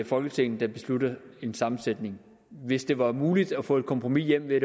folketinget der beslutter en sammensætning hvis det var muligt at få et kompromis hjem ved at